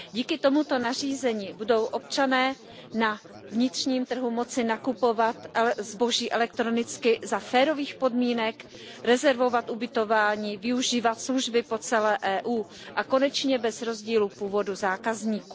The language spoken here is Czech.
Díky tomuto nařízení budou občané na vnitřním trhu moci nakupovat zboží elektronicky za férových podmínek, rezervovat ubytování, využívat služby po celé EU a konečně bez rozdílu původu zákazníků.